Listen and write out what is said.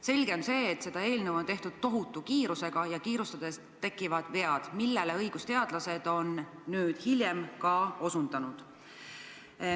Selge on see, et seda eelnõu on tehtud tohutu kiirusega, kuid kiirustades tekivad vead, millele õigusteadlased on nüüd hiljem ka osutanud.